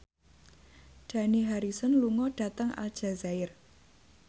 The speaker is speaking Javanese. Dani Harrison lunga dhateng Aljazair